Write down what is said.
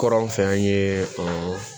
Kɔrɔn an fɛ an ye o